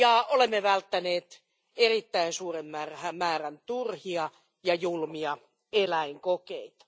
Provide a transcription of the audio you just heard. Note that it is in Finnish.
Olemme välttäneet erittäin suuren määrän turhia ja julmia eläinkokeita.